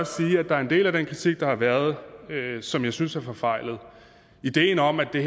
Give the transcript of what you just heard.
sige at der er en del af den kritik der har været som jeg synes er forfejlet ideen om at det